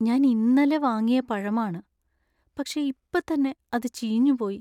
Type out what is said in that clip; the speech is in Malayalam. ഞാൻ ഇന്നലെ വാങ്ങിയ പഴമാണ് , പക്ഷേ ഇപ്പത്തന്നെ അത് ചീഞ്ഞുപോയി.